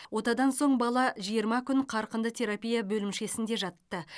отадан соң бала жиырма күн қарқынды терапия бөлімшесінде жатты